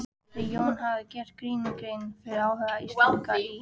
Þegar Jón hafði gert Grími grein fyrir áhuga Íslendinga í